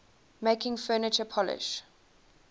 making furniture polish